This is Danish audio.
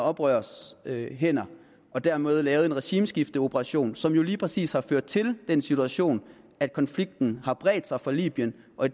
oprørernes hænder og dermed lavede en regimeskifteoperation som jo lige præcis har ført til den situation at konflikten i har bredt sig fra libyen og